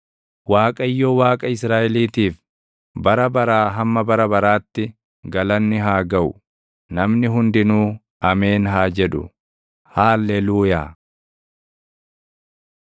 Waaqayyo, Waaqa Israaʼeliitiif, bara baraa hamma bara baraatti galanni haa gaʼu. Namni hundinuu “Ameen!” haa jedhu. Haalleluuyaa!